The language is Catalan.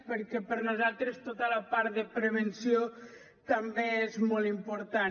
perquè per nosaltres tota la part de prevenció també és molt important